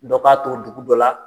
Dɔ b'a to dugu dɔ la